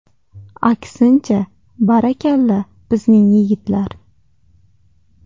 Aksincha, barakalla, bizning yigitlar.